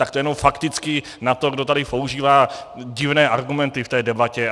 Tak to jenom fakticky na to, kdo tady používá divné argumenty v té debatě.